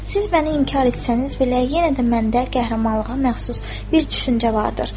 Siz məni inkar etsəniz belə, yenə də məndə qəhrəmanlığa məxsus bir düşüncə vardır.